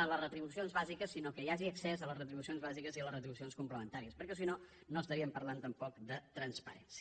a les retribucions bàsiques sinó que hi hagi accés a les retribucions bàsiques i a les retribucions complementàries perquè si no no parlaríem tampoc de transparència